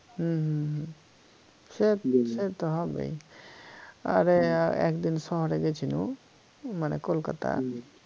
হম হম সে সে তো হবেই আর আহ একদিন শহরে গেছিনু মানে কলকাতা